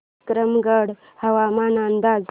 विक्रमगड हवामान अंदाज